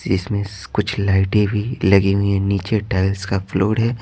जिसमें कुछ लाइटें भी लगी हुई है नीचे टाइल्स का फ्लोर है।